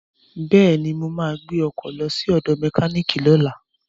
Bẹ́ẹ̀ni, mo ma gbẹ́ ọkọ̀ lọ sí ọ̀dọ̀ mẹkíníìkì lọ́la